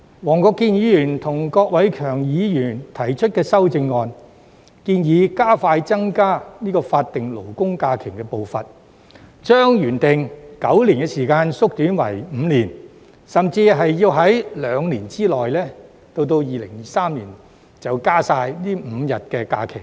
黃國健議員和郭偉强議員提出的修正案，建議加快增加法定假日的步伐，將原定9年的時間縮短為5年，甚至兩年，即是到2023年便完成增加這5天法定假日。